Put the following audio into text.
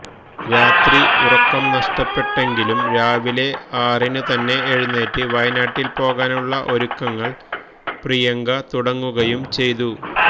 രാത്രി ഉറക്കം നഷ്ടപ്പെട്ടെങ്കിലും രാവിലെ ആറിനുതന്നെ എഴുന്നേറ്റ് വയനാട്ടില് പോകാനുള്ള ഒരുക്കങ്ങള് പ്രിയങ്ക തുടങ്ങുകയുംചെയ്തു